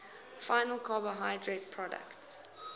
final carbohydrate products